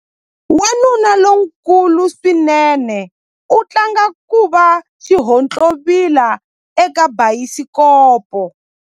Wanuna lonkulu swinene u tlanga ku va xihontlovila eka bayisikopo.